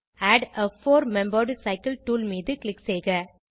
add a for member cycle tool மீது click செய்க